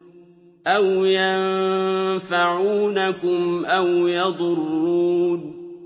أَوْ يَنفَعُونَكُمْ أَوْ يَضُرُّونَ